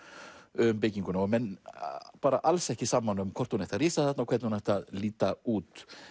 um bygginguna og menn alls ekki sammála um hvort hún ætti að rísa þarna og hvernig hún ætti að líta út